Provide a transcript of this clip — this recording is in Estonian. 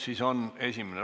Esimene lugemine on lõppenud.